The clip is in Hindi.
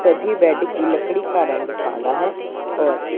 सभी बेड की लकड़ी का रंग काला है और --